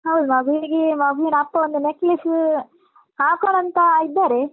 ಹೌದು ಮಗುವಿಗೆ ಮಗುವಿನ ಅಪ್ಪ ಒಂದು necklace ಹಾಕೋಣ ಅಂತ ಇದ್ದರೆ.